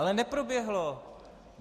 Ale neproběhlo!